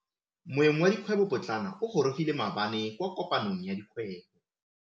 Moêng wa dikgwêbô pôtlana o gorogile maabane kwa kopanong ya dikgwêbô.